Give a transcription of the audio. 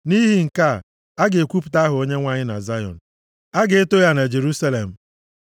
Nʼihi nke a, a ga-ekwuwapụta aha Onyenwe anyị na Zayọn; a ga-eto ya na Jerusalem,